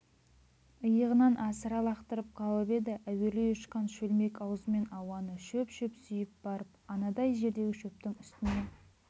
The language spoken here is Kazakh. иығынан асыра лақтырып қалып еді әуелей ұшқан шөлмек аузымен ауаны шөп-шөп сүйіп барып анадай жердегі шөптің үстіне